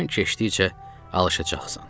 Zaman keçdikcə alışacaqsan.